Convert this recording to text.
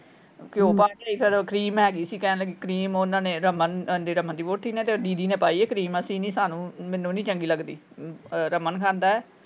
ਘਿਓ ਪਾ ਲਿਆਈ ਫੇਰ ਕਰੀਮ ਹੈਗੀ ਸੀ ਕਹਿਣ ਲੱਗੇ ਕਰੀਮ ਓਹਨਾ ਨੇ ਰਮਨ ਰਮਨ ਦੀ ਵਹੁਟੀ ਨੇ ਤੇ ਦੀਦੀ ਨੇ ਪਾਈ ਆ ਕਰੀਮ। ਅਸੀਂ ਨੀ ਸਾਨੂੰ ਮੈਨੂੰ ਨੀ ਚੰਗੀ ਲੱਗਦੀ। ਰਮਨ ਖਾਂਦਾ ਹੈ।